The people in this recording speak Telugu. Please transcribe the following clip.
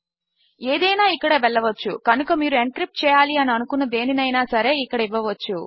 ఏదైనా ఇక్కడ వెళ్ళవచ్చు కనుక మీరు ఎన్క్రిప్ట్ చేయాలి అని అనుకున్న దేనినైనా సరే ఇక్కడ ఇవ్వవచ్చు